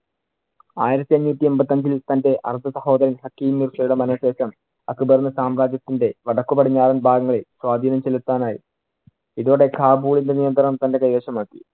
ആയിരത്തി അഞ്ഞൂറ്റി എൺപത്തിയഞ്ചിൽ തന്‍റെ അര്‍ദ്ധസഹോദരൻ ഹക്കിമിന്‍ഷയുടെ മരണ ശേഷം അക്ബറിന് സാമ്രാജ്യത്തിന്‍റെ വടക്കുപടിഞ്ഞാറൻ ഭാഗങ്ങളിൽ സ്വാധീനം ചെലുത്താൻ ആയി. ഇതോടെ കാബുളിന്‍റെ നിയന്ത്രണം തന്‍റെ കൈവശം ആക്കി.